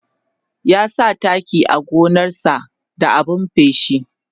ya sa taki a gonan sa da abun feshi